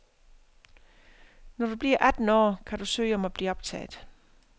Når du bliver atten år, kan du søge om at blive optaget.